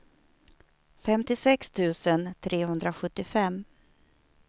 femtiosex tusen trehundrasjuttiofem